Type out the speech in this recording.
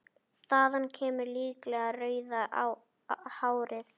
Þaðan kemur líklega rauða hárið.